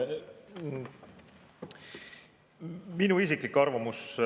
Minu isiklik arvamus.